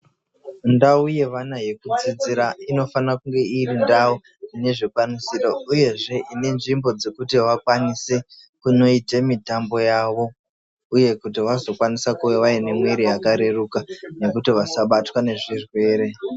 Ndau yevana yekudzidzira inofana kunge iri ndau ine zvikwanisiro uyezve Ine nzvimbo dzekuti vakwanise kunoite mitambo yavo uye kuti vazokwanise kuve vane mwiri yakareruka nekuti vasabatwa nezvirwere